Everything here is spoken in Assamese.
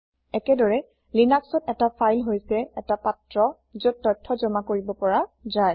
একেদৰে লিনাক্সত এটা ফাইল হৈছে এটা পাত্ৰ যত তথ্য জমা কৰিব পৰা যায়